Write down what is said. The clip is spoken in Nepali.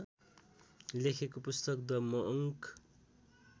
लेखेको पुस्तक द मङ्क